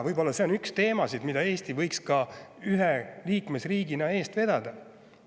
Võib-olla see on üks teemasid, mida Eesti võiks ühe liikmesriigina eest vedada.